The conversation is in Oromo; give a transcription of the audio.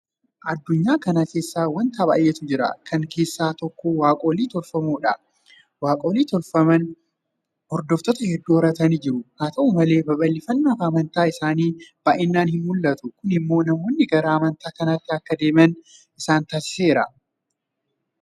Addunyaa kana keessa waanta baay'eetu jira. Kana keessaa tokko Waaqolii tolfamoodha. Waaqolii tolfamoon hordoftoota hedduu horatanii jiru. Haata'u malee babal'ifannaan amantaa isaanii baay'inaan hinmul'atu. Kun immoo namoonni gara amantaa kaaniitti akka deeman isaan taasiseera.